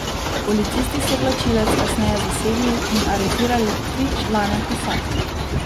Policisti so vlačilec kasneje zasegli in aretirali tri člane posadke.